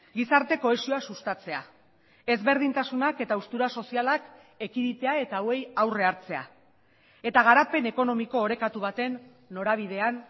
gizarte kohesioa sustatzea ezberdintasunak eta haustura sozialak ekiditea eta hauei aurre hartzea eta garapen ekonomiko orekatu baten norabidean